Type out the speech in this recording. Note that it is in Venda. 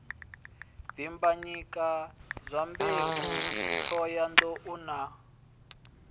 dimbanyika dyambeu t hohoyandou na